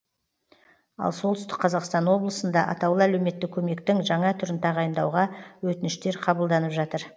ал солтүстік қазақстан облысында атаулы әлеуметтік көмектің жаңа түрін тағайындауға өтініштер қабылданып жатыр